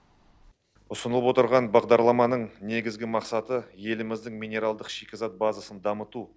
ұсынып отырған бағдарламаның негізгі мақсаты еліміздің минералдық шикізат базасын дамыту